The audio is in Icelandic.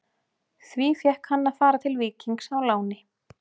Því fékk hann að fara til Víkings á láni.